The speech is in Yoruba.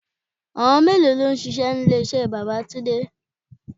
Àwọn mélòó lọ ń ṣíṣe ní ilé iṣẹ́ bàbá túndé?